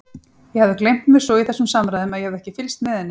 Ég hafði gleymt mér svo í þessum samræðum að ég hafði ekki fylgst með henni.